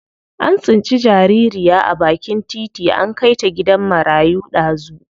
An tsinci jaririya a bakin titi an kai ta gidan marayu dazu.